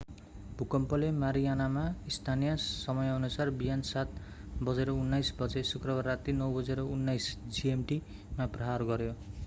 भुकम्पले मारियानामा स्थानीय समयानुसार बिहान 07:19 बजे शुक्रबार राती 09:19 gmt मा प्रहार गर्‍यो।